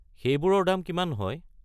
সেইবোৰৰ দাম কিমান হয়?